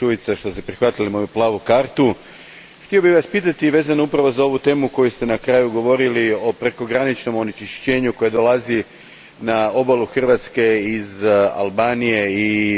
Htio bih Vas pitati vezano upravo za ovu temu o kojoj ste na kraju govorili, o prekograničnom onečišćenju koje dolazi na obalu Hrvatske iz Albanije i putem Neretve iz Bosne i Hercegovine.